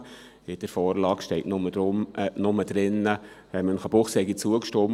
In der Vorlage steht nur, Münchenbuchsee habe zugestimmt.